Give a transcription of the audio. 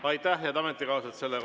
Aitäh, head ametikaaslased!